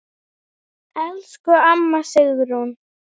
Elsku amma Sigrún.